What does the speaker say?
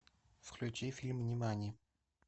включи фильм нимани